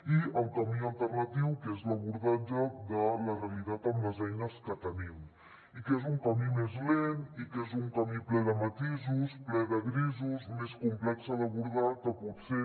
i el camí alternatiu que és l’abordatge de la realitat amb les eines que tenim i que és un camí més lent i que és un camí ple de matisos ple de grisos més complex d’abordar que potser